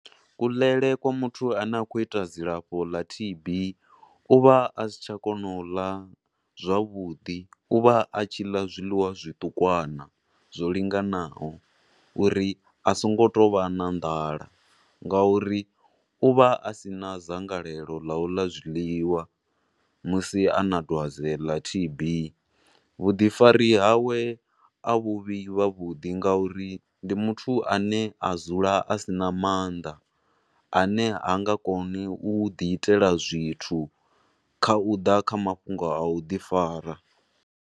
Kuḽele kwa muthu ane a khou ita dzilafho ḽa T_B, uvha a si tsha kona u ḽa zwavhuḓi, u vha a tshi ḽa zwiḽiwa zwitukwana zwo linganaho uri a songo tovha na nḓala nga uri uvha a sina dzangalelo la u ḽa zwiḽiwa musi ana dwadze ḽa T_B. Vhuḓifari hawe a vhu vhi vhavhuḓi nga uri ndi muthu a ne a dzula a sina maanḓa ane hanga koni u ḓi itela zwithu kha u ḓa kha mafhungo a u ḓi fara.